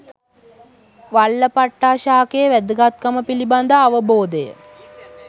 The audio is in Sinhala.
වල්ලපට්ටා ශාකයේ වැදගත්කම පිළිබඳ අවබෝධය